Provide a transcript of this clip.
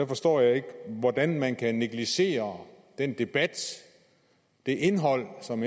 forstår jeg ikke hvordan man kan negligere den debat det indhold som